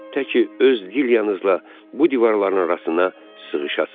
Təki öz Dilyanızla bu divarların arasına sığışasınız.